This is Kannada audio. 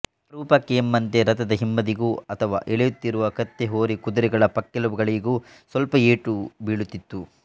ಅಪರೂಪಕ್ಕೆ ಎಂಬಂತೆ ರಥದ ಹಿಂಬದಿಗೋ ಅಥವಾ ಎಳೆಯುತ್ತಿರುವ ಕತ್ತೆ ಹೋರಿ ಕುದುರೆಗಳ ಪಕ್ಕೆಲುಬುಗಳಿಗೋ ಸ್ವಲ್ಪ ಏಟು ಬೀಳುತ್ತಿತ್ತು